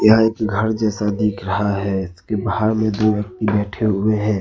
यहां एक घर जैसा दिख रहा है इसके बाहर में दो व्यक्ति बैठे हुए हैं।